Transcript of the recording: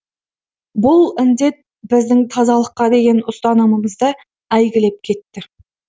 бұл індет біздің тазалыққа деген ұстанымымызды әйгілеп кетті